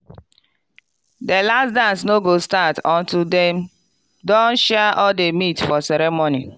the last dance no go start until dem don share all the meat for ceremony.